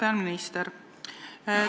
Hea peaminister!